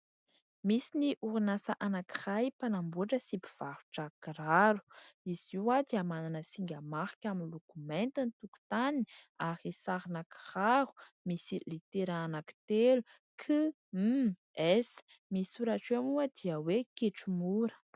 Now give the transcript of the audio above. Misy ny orinasa anankiray mpanamboatra sy mpivarotra kiraro. Izy io dia manana singa marika miloko mainty ny tokotany ary sarina kiraro misy litera anankitelo "K, M, S". Ny soratra eo moa dia hoe "kitro mora".